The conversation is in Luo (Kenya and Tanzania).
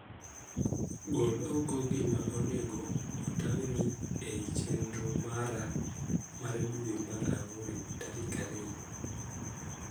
Gol oko gima onego otang'ni ei chenro mara mar dwe mar ang'wen tarik ariyo.